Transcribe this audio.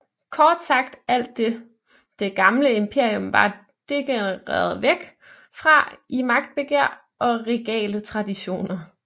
Kort sagt alt det det gamle imperium var degenereret væk fra i magtbegær og regale traditioner